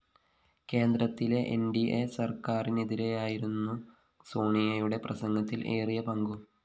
കേന്ദ്രത്തിലെ NDA സര്‍ക്കാരിനെതിരായിരുന്നു സോണിയയുടെ പ്രസംഗത്തില്‍ ഏറിയപങ്കും